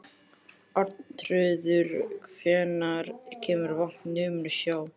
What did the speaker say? Arnþrúður, hvenær kemur vagn númer sjö?